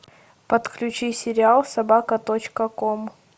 подключи сериал собака точка ком